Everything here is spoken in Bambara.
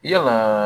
Yalaa